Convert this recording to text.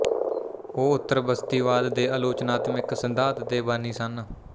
ਉਹ ਉੱਤਰਬਸਤੀਵਾਦ ਦੇ ਆਲੋਚਨਾਤਮਿਕ ਸਿਧਾਂਤ ਦੇ ਬਾਨੀ ਸਨ